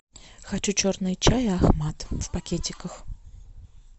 хочу черный чай ахмад в пакетиках